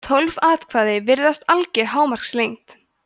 tólf atkvæði virðist alger hámarkslengd